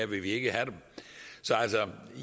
vil vi ikke have dem så